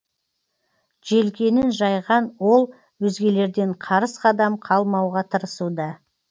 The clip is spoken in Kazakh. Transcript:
желкенін жайған ол өзгелерден қарыс қадам қалмауға тырысуда